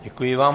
Děkuji vám.